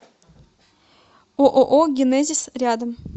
ооо генезис рядом